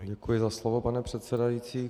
Děkuji za slovo, pane předsedající.